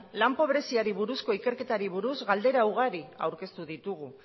lan pobreziari buruzko ikerketari buruz galdera ugari aurkeztu ditugu